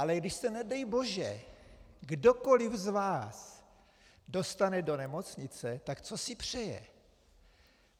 Ale když se nedej bože kdokoliv z vás dostane do nemocnice, tak co si přeje?